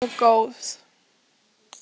Hún sem var alltaf svo góð.